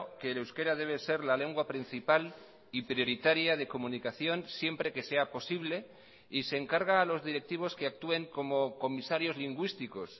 que el euskera debe ser la lengua principal y prioritaria de comunicación siempre que sea posible y se encarga a los directivos que actúen como comisarios lingüísticos